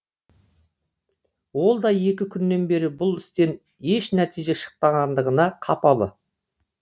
ол да екі күннен бері бұл істен еш нәтиже шықпағандығына қапалы